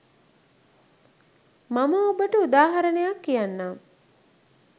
මම ඔබට උදාහරණයක් කියන්නම්.